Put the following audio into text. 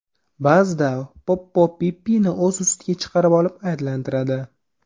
Ba’zida Poppo Pippini o‘z ustiga chiqarib olib aylantiradi.